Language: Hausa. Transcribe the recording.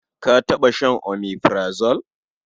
Ka taɓa shan omeprazole?